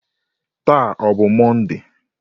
Taa ọ bụ Mọnde?